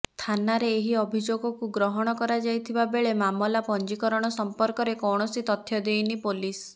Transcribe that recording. ଥାନାରେ ଏହି ଅଭିଯୋଗକୁ ଗ୍ରହଣ କରାଯାଇଥିବା ବେଳେ ମାମଲା ପଞ୍ଜିକରଣ ସମ୍ପର୍କରେ କୌଣସି ତଥ୍ୟ ଦେଇନି ପୋଲିସ